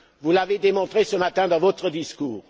Vous l'avez démontré, ce matin, dans votre discours.